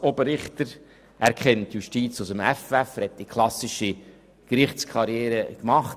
Er kennt die Justiz aus dem FF, denn er hat die klassische Gerichtskarriere gemacht: